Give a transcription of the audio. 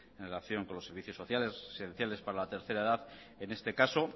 en relación con los servicios sociales esenciales para la tercera edad en este caso